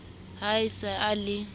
ha a se a le